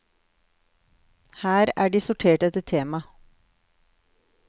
Her er de sortert etter tema.